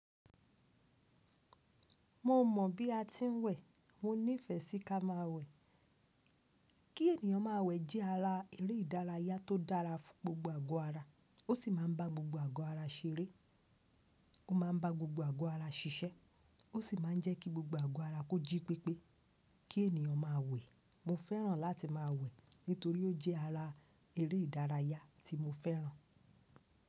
Mo mọ̀ bí a ti ń wẹ̀, mo nífẹ́ sí ká máa wẹ̀. Kí ènìyàn má a wẹ̀ jẹ́ ara eré ìdárayá tó dára fún gbogbo àgọ́ ara, ó sì máa ń bá gbogbo àgọ́ ara ṣeré, ó máa ń bá gbogbo àgọ́ ara ṣiṣẹ́, ó sì máa ń jẹ́ kí gbogbo àgọ́ ara kó jí pépé. Kí ènìyàn máa wẹ̀, mo fẹ́ràn láti máa wẹ̀ nítorí ó jẹ́ ara eré ìdárayá tí mo fẹ́ràn.